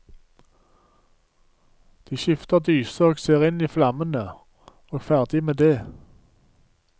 De skifter dyse og ser inn i flammene, og ferdig med det.